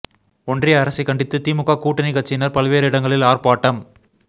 ஒன்றிய அரசை கண்டித்து திமுக கூட்டணிக் கட்சியினர் பல்வேறு இடங்களில் ஆர்ப்பாட்டம்